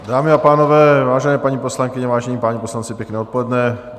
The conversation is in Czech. Dámy a pánové, vážené paní poslankyně, vážení páni poslanci, pěkné odpoledne.